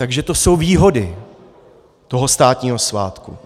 Takže to jsou výhody toho státního svátku.